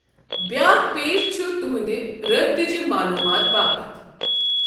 بیٛاکھ پیج چھُ تُہنٛدِ رابطٕچہِ معلوٗمات باپتھ۔۔